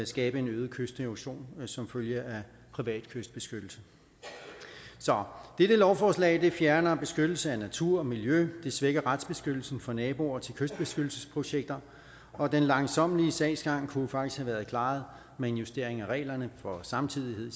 skabe en øget kysterosion som følge af privat kystbeskyttelse så dette lovforslag fjerner beskyttelse af natur og miljø det svækker retsbeskyttelsen for naboer til kystbeskyttelsesprojekter og den langsommelige sagsgang kunne faktisk have været klaret med en justering af reglerne for samtidighed i